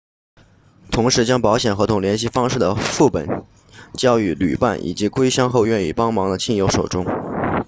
同时将保险合同联系方式的副本交予旅伴以及归乡后愿意帮忙的亲友手中